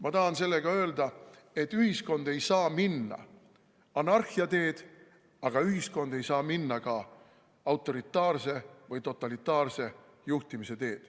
Ma tahan sellega öelda, et ühiskond ei saa minna anarhia teed, aga ühiskond ei saa minna ka autoritaarse või totalitaarse juhtimise teed.